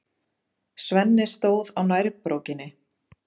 Svenni stóð á nærbrókinni.